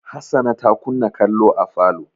Hassana ta kunna kallo a falo.